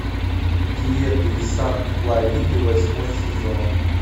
диета из санта клариты восьмой сезон